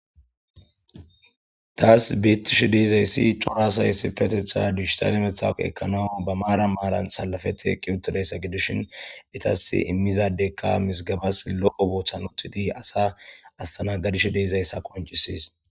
Tasi betishe dizayisi co,ra asayi dijitale matawuqe ekanaw ba mara mara salafeti eqiwutidayssa gidishin etasi imiza adeka mizigabas lo,o botan utidi asa astanagadishe dizayisa qonccises